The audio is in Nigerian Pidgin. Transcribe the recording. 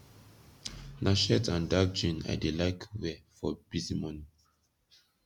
na shirt and dark jean i dey laik wey for bizy morning